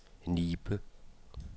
Nibe